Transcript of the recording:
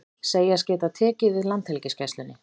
Segjast geta tekið við Landhelgisgæslunni